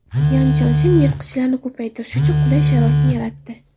Yan Chanshen yirtqichlarni ko‘paytirish uchun qulay sharoitni yaratdi.